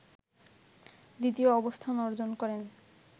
দ্বিতীয় অবস্থান অর্জন করেন